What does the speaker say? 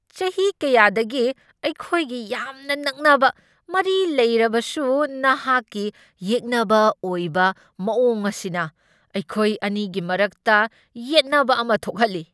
ꯆꯍꯤ ꯀꯌꯥꯗꯒꯤ ꯑꯩꯈꯣꯏꯒꯤ ꯌꯥꯝꯅ ꯅꯛꯅꯕ ꯃꯔꯤ ꯂꯩꯔꯕꯁꯨ ꯅꯍꯥꯛꯀꯤ ꯌꯦꯛꯅꯕ ꯑꯣꯏꯕ ꯃꯑꯣꯡ ꯑꯁꯤꯅ ꯑꯩꯈꯣꯏ ꯑꯅꯤꯒꯤ ꯃꯔꯛꯇ ꯌꯦꯠꯅꯕ ꯑꯃ ꯊꯣꯛꯍꯜꯂꯤ꯫